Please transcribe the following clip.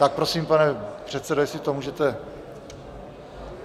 Tak prosím, pane předsedo, jestli to můžete...